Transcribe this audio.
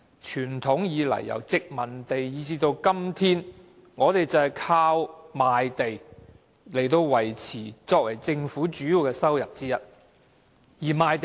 傳統以來，由殖民地政府至今天，賣地收入都是政府的主要收入之一。